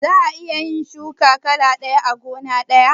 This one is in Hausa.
Za'a iya shuki kala ɗaya a gona ɗaya?